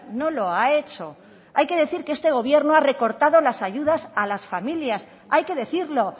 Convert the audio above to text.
no lo ha hecho hay que decir que este gobierno ha recortado las ayudas a las familias hay que decirlo